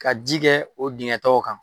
Ka ji kɛ o digɛn tɔgɔ kan.